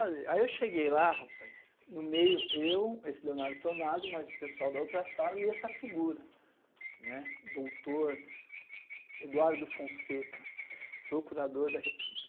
Aí eu cheguei lá rapaz, no meio eu, esse Leonardo Tonazzo, mas o pessoal da outra sala e essa figura, né, doutor Eduardo Fonseca, procurador da República.